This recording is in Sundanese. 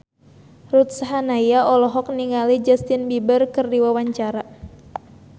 Ruth Sahanaya olohok ningali Justin Beiber keur diwawancara